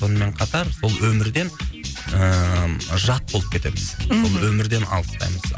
сонымен қатар сол өмірден ііі жат болып кетеміз мхм өмірден алыстаймыз